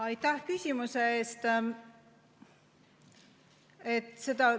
Aitäh küsimuse eest!